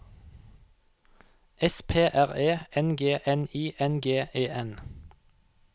S P R E N G N I N G E N